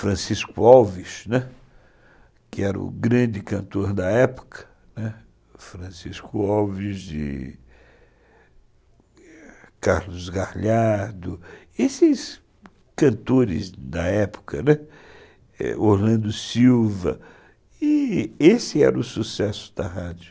Francisco Alves, né, que era o grande cantor da época, né, Francisco Alves, Carlos Garlhardo, esses cantores da época, né, Orlando Silva, e esse era o sucesso da rádio.